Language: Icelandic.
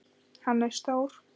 Hannes Þór.